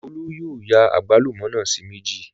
Olú yóò ya àgbálùmọ́ náà sí méjì